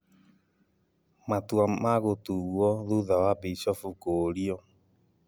Matua magũtuo thutha wa bishofu kũũrio